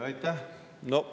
Aitäh!